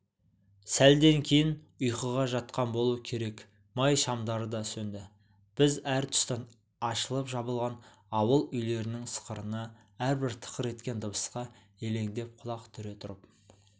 сәлден кейін ұйқыға жатқан болу керек май шамдары да сөнді біз әр тұстан ашылып-жабылған ауыл үйлерінің сықырына әрбір тықыр еткен дыбысқа елеңдеп құлақ түре тұрып